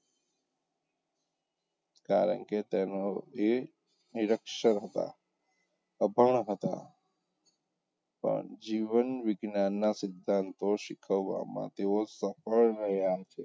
કારણ કે તેઓ નિરક્ષર હતાં, અભણ હતાં પણ જીવન વિજ્ઞાનનાં સિધ્ધાંતો શીખવવામાં તેઓ સફળ રહ્યાં છે.